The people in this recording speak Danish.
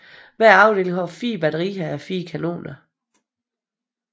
Hver afdeling har 4 batterier a 4 kanoner